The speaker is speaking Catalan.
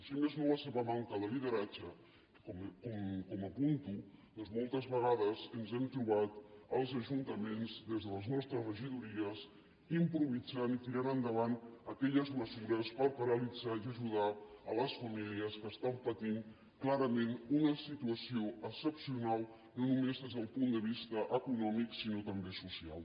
si més no la seva manca de lideratge com apunto ja que moltes vegades ens hem trobat els ajuntaments des de les nostres regidories improvisant i tirant endavant aquelles mesures per paralitzar i ajudar les famílies que pateixen clarament una situació excepcional no només des del punt de vista econòmic sinó també social